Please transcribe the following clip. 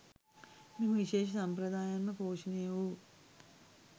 මෙම විශේෂ සම්ප්‍රදායෙන්ම පෝෂණය වූ